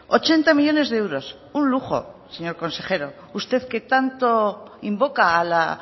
ochenta millónes de euros un lujo señor consejero usted que tanto invoca a la